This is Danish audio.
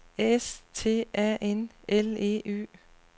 S T A N L E Y